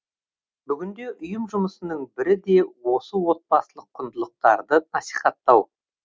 бүгінде ұйым жұмысының бірі де осы отбасылық құндылықтарды насихаттау